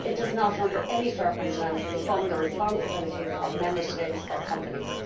It does not under any circumstances fund the responsibilities of Member States or companies.